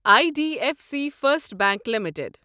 I D F C First Bank limited